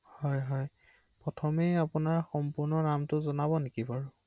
আ আ